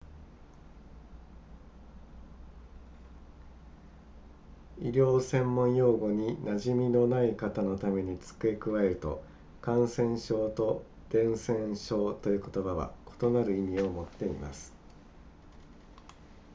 医療専門用語に馴染みのない方のために付け加えると感染性と伝染性という言葉は異なる意味を持っています